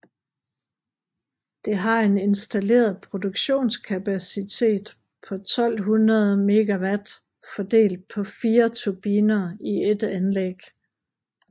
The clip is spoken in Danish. Det har en installeret produktionskapacitet på 1200 MW fordelt på 4 turbiner i ét anlæg